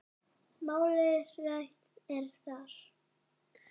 Málið rætt er þar.